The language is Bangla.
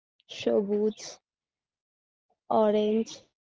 সবুজ orange